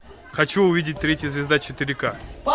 хочу увидеть третья звезда четыре ка